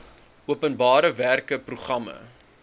openbare werke programme